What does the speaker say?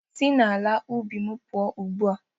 Si n'ala ubi m pụọ ugbu a